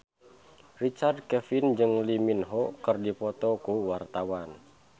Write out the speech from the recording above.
Richard Kevin jeung Lee Min Ho keur dipoto ku wartawan